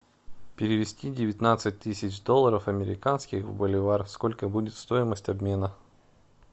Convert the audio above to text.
перевести девятнадцать тысяч долларов американских в боливар сколько будет стоимость обмена